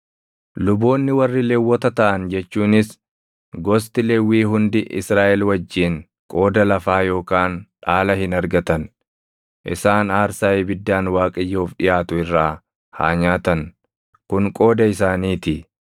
Luboonni warri Lewwota taʼan jechuunis gosti Lewwii hundi Israaʼel wajjin qooda lafaa yookaan dhaala hin argatan. Isaan aarsaa ibiddaan Waaqayyoof dhiʼaatu irraa haa nyaatan; kun qooda isaaniitii.